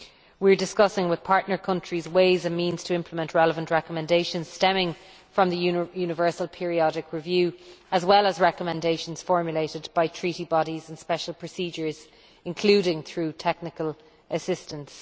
We are discussing with partner countries ways and means to implement relevant recommendations stemming from the universal periodic review as well as recommendations formulated by Treaty bodies and special procedures, including through technical assistance.